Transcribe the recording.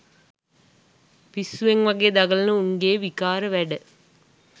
පිස්සුවෙන් වගේ දගලන උන්ගේ විකාර වැඩ